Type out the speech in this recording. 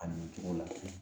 A nin cogo la